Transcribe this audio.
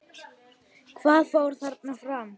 Hvað fór þarna fram?